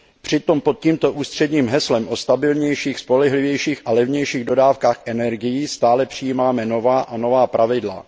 Přitom pod tímto ústředním heslem o stabilnějších, spolehlivějších a levnějších dodávkách energií stále přijímáme nová a nová pravidla.